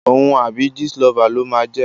Òun àbí Jistlover ló máa jẹ́.